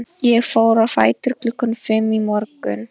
Ég fór á fætur klukkan fimm í morgun.